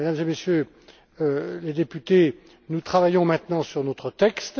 Voilà, Mesdames et Messieurs les députés, nous travaillons maintenant sur notre texte.